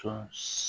Sɔn